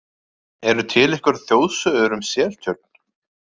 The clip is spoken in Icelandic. Eru til einhverjar þjóðsögur um Seltjörn?